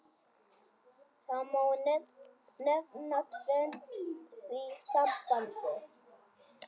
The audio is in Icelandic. Það má nefna tvennt í því sambandi.